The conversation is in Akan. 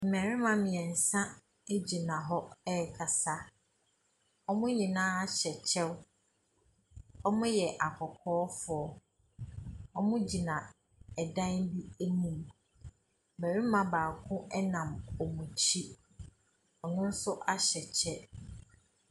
Mmarima mmeɛnsa gyina hɔ rekasa. Wɔn nyinaa hyɛ kyɛw. Wɔyɛ akɔkɔɔfoɔ. Wɔgyina dan bi anim. Barima baako nam wɔn akyi. Ɔno nso ahyɛ kyɛ.